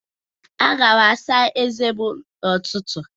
Aga m asa ezé m n'ụtụtụ